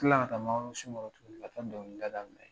Kila ka taa mangoro sun kɔrɔ tukuni ka taa dɔnkilida daminɛ.